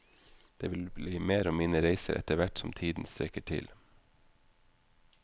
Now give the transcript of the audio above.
Det vil bli mer om mine reiser etter hvert som tiden strekker til.